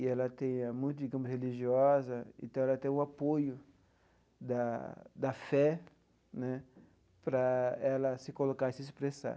E ela tem é muito digamos religiosa, então ela tem o apoio da da fé né para ela se colocar e se expressar.